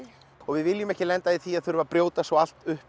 við viljum ekki lenda í því að þurfa að brjóta svo allt upp